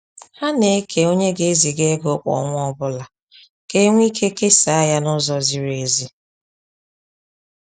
Ha na-eke onye ga eziga ego kwa ọnwa ọbụla ka enwe ike kesa ya na-ụzọ ziri ezi